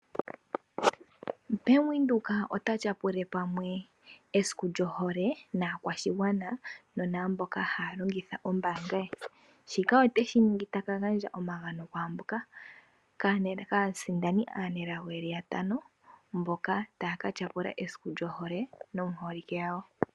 Bank Windhoek ota tyapula pamwe esiku lyohole naakwashigwana nonaamboka haya longitha ombaanga ye. Shika otashi ningi taka gandja omagano kwaamboka aasindani aanelago ye li yatano mboka taya ka tyapula esiku lyohole naaholike yawo.